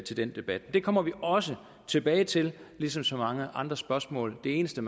til den debat det kommer vi også tilbage til ligesom så mange andre spørgsmål det eneste